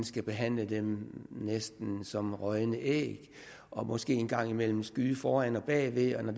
skal behandle dem næsten som rådne æg og måske en gang imellem skyde foran og bagved og når